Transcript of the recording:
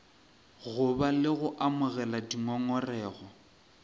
goba le go amogela dingongorego